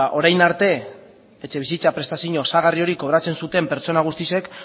orain arte etxebizitza prestazio osagarri hori kobratzen zuten pertsona guztiek